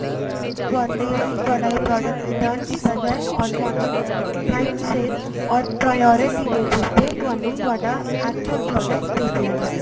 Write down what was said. ਤੁਹਾਡਾ ਇਹ product return ਕੀਤਾ ਜਾਏ or ਤੁਹਾਨੂੰ time ਸਿਰ or priority bases ਤੇ ਤੁਹਾਨੂੰ ਤੁਹਾਡਾ actual product ਭੇਜਿਆ ਜਾਏ